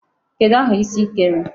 Kedụ aha isi ị kere?